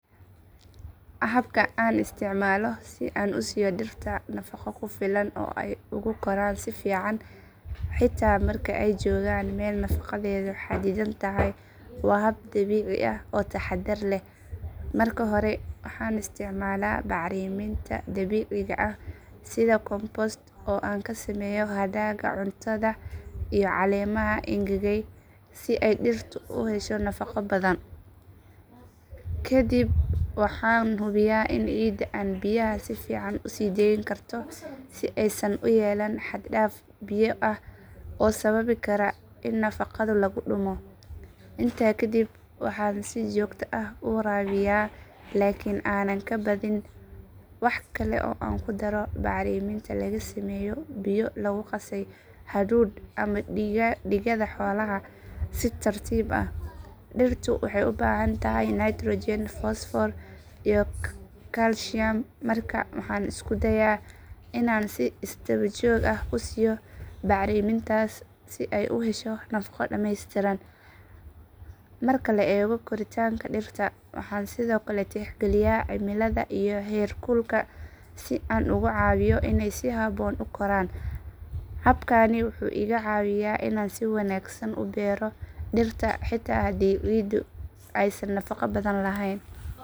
Habka aan isticmaalo si aan u siiyo dhirta nafaqo ku filan oo ay ugu koraan si fiican xitaa marka ay joogaan meel nafaqadeedu xaddidan tahay waa hab dabiici ah oo taxaddar leh. Marka hore waxaan isticmaalaa bacriminta dabiiciga ah sida compost oo aan ka sameeyo hadhaaga cuntada iyo caleemaha engegay si ay dhirtu u hesho nafaqo badan. Kadib waxaan hubiyaa in ciidda aan biyaha si fiican u sii deyn karto si aysan u yeelan xad dhaaf biyo ah oo sababi kara in nafaqadu laga lumo. Intaa kadib waxaan si joogto ah u waraabiyaa laakiin aanan ka badin. Waxa kale oo aan ku daro bacriminta laga sameeyo biyo lagu qasay hadhuudh ama digada xoolaha si tartiib ah. Dhirtu waxay u baahan tahay nitrogen fosfoor iyo kaalshiyam markaa waxaan isku dayaa inaan si isdaba joog ah u siiyo bacrimintaasi si ay u hesho nafaqo dhameystiran. Marka la eego koritaanka dhirta waxaan sidoo kale tixgeliyaa cimilada iyo heer kulka si aan ugu caawiyo inay si habboon u koraan. Habkani wuxuu iga caawiyaa inaan si wanaagsan u beero dhirta xitaa haddii ciiddu aysan nafaqo badan lahayn.